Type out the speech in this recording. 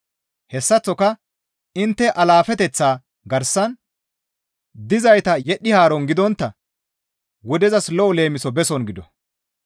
Hessaththoka intte alaafeteththaa garsan dizayta yedhdhi haaron gidontta wudezas lo7o leemiso beson gido.